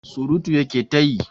Surutu ya ke ta yi.